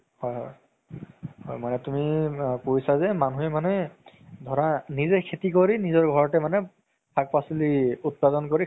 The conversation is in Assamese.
হয় হয় মানে তুমি কৈছা যে মানুহে মানে ধৰা নিজে খেতি কৰি নিজৰ ঘৰতে মানে শাক পাচলি উতপাদন কৰি